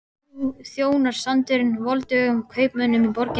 Nú þjónar sandurinn voldugum kaupmönnunum í borginni.